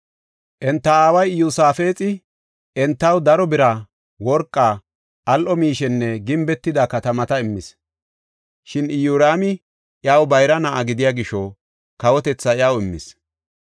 Enta aaway Iyosaafexi entaw daro bira, worqa, al7o miishenne gimbetida katamata immis. Shin Iyoraami iyaw bayra na7a gidiya gisho kawotethaa iyaw immis.